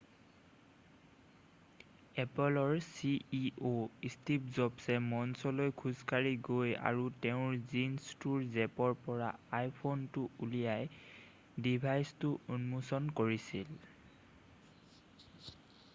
এপ'লৰ ceo Steve জবছে মঞ্চলৈ খোজকাঢ়ি গৈ আৰু তেওঁৰ জীনছটোৰ জেপৰ পৰা iphoneটো উলিয়াই ডিভাইচটো উন্মোচন কৰিছিল।